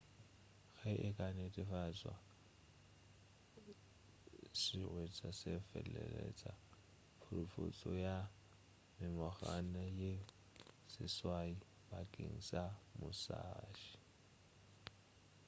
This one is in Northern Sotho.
ge e ka netefatšwa sehwetša se feleletša phurophotšo ya mengwaga ye seswai bakeng sa musashi